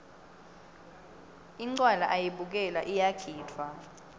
incwala ayibukelwa iyagidvwa